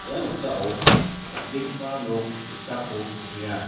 ia noksao dal·begipa nok ge·sako nikenga.